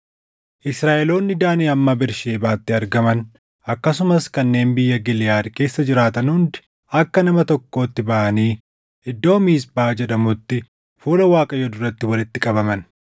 Israaʼeloonni Daanii hamma Bersheebaatti argaman akkasumas kanneen biyya Giliʼaad keessa jiraatan hundi akka nama tokkootti baʼanii iddoo Miisphaa jedhamutti fuula Waaqayyoo duratti walitti qabaman.